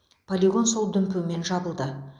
полигон сол дүмпумен жабылды